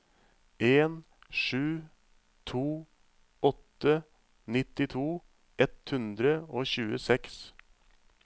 en sju to åtte nittito ett hundre og tjueseks